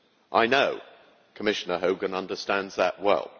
I know Commissioner Hogan understands that well.